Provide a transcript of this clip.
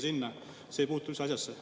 See ei puutu üldse asjasse.